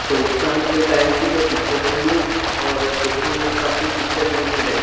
सौरी शाम के टाइम की जो पिक्चर है ये और देखने में काफी पिक्चर में क्लियेर --